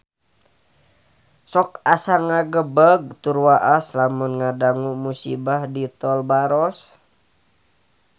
Sok asa ngagebeg tur waas lamun ngadangu musibah di Tol Baros